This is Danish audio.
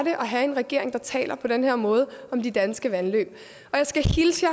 at have en regering der taler på den her måde om de danske vandløb jeg skal hilse